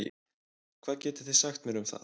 Hvað getið þið sagt mér um það?